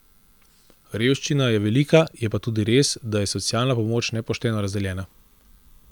Revščina je velika, je pa tudi res, da je socialna pomoč nepošteno razdeljena.